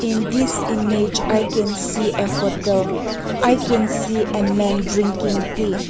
in this image i can see a hotel i can see a man drinking tea.